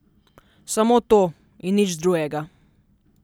Samo to, in nič drugega.